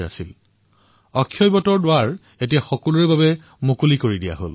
এতিয়া অক্ষয়বট সকলোৰে বাবে মুকলি কৰি দিয়া হৈছে